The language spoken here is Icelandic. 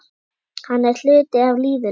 Hann er hluti af lífinu.